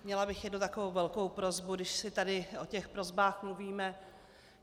Měla bych jednu takovou velkou prosbu, když si tady o těch prosbách mluvíme.